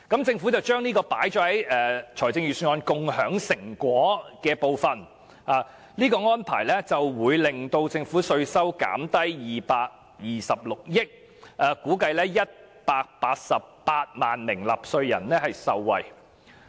政府把這項措施納入財政預算案中"共享成果"的部分，指有關扣減會令政府稅收減少226億元，並估計會有188萬名納稅人受惠。